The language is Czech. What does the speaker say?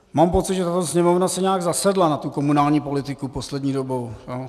Mám pocit, že tato Sněmovna si nějak zasedla na tu komunální politiku poslední dobou.